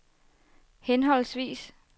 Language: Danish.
henholdsvis